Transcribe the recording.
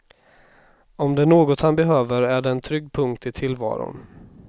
Om det är något han behöver är det en trygg punkt i tillvaron.